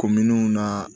Kominiw na